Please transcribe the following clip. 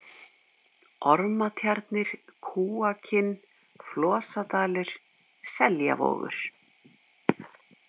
Ormatjarnir, Kúakinn, Flosadalur, Seljavogur